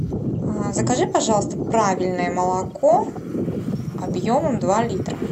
закажи пожалуйста правильное молоко объемом два литра